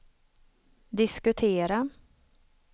diskutera